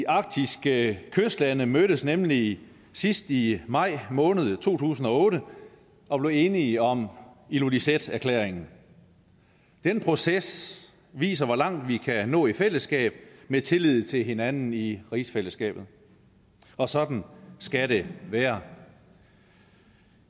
arktiske kystlande mødtes nemlig sidst i maj måned to tusind og otte og blev enige om ilulissaterklæringen den proces viser hvor langt vi kan nå i fællesskab med tillid til hinanden i rigsfællesskabet og sådan skal det være